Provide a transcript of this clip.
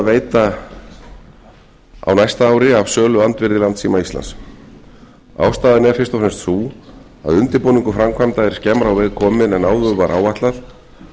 veita á næsta ári af söluandvirði landssíma íslands ástæðan er fyrst og fremst sú að undirbúningur framkvæmda er skemmra á veg kominn en áður var áætlað